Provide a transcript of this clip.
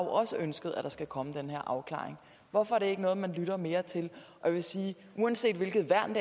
også ønsket at der skal komme den her afklaring hvorfor er det ikke noget man lytter mere til jeg vil sige at uanset hvilket værn